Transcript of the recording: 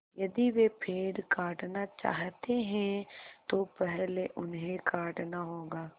यदि वे पेड़ काटना चाहते हैं तो पहले उन्हें काटना होगा